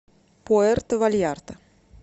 пуэрто вальярта